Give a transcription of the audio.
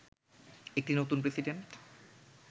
একটি নতুন প্রেসিডেন্ট